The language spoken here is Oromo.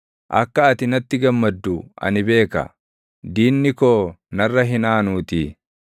Akka ati natti gammaddu ani beeka; diinni koo narra hin aanuutii.